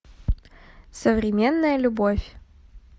современная любовь